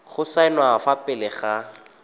go saenwa fa pele ga